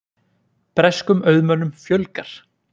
Breskum auðmönnum fjölgar